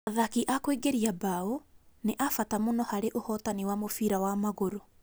Athaki a kũingĩria mbaũ nĩ a bata mũno harĩ ũhotani wa mũbira wa magũrũ